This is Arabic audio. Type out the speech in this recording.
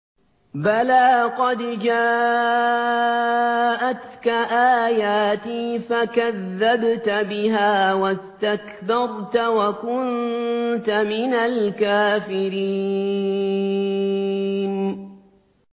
بَلَىٰ قَدْ جَاءَتْكَ آيَاتِي فَكَذَّبْتَ بِهَا وَاسْتَكْبَرْتَ وَكُنتَ مِنَ الْكَافِرِينَ